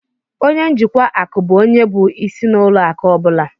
Ọnye njikwa akụ bụ ónyé bụ ịsị na ụlọ akụ ọbula